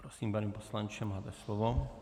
Prosím, pane poslanče, máte slovo.